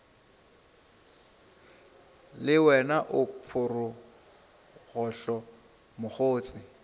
le wena o phorogohlo mokgotse